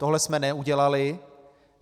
Tohle jsme neudělali.